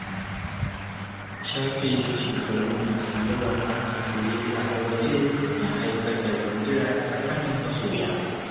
Shafe shekaru masu yawa ana soyayya a waje na haifar da gundura a tsakanin masoya.